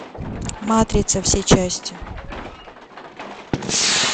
матрица все части